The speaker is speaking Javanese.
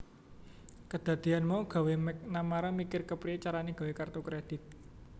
Kedadeyan mau gawé McNamara mikir kepriye carane gawé kertu kredit